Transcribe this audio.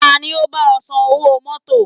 Ta ni ó bá ọ san owó mọ́tọ̀?